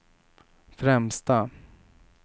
främsta